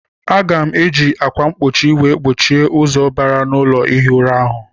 Aga m eji akwa mkpochi wee gbochie ụzọ bara na ụlọ ihi ura ahụ.